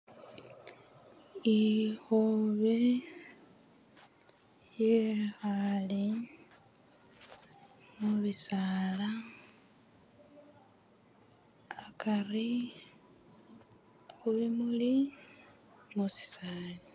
Ikhobe yekhaale mubisaala akari khu bimuli musisaali.